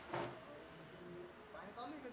हाव पाणी चालु आहे का?